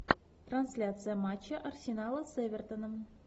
трансляция матча арсенала с эвертоном